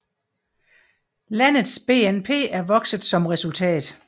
Landets BNP er vokset som resultat